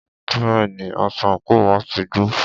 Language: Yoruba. Bẹ́ẹ̀ni, aṣọ àńkò wá ti gbó.